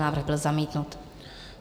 Návrh byl zamítnut.